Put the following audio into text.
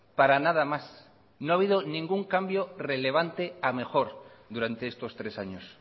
para nada más no ha habido ningún cambio relevante a mejor durante estos tres años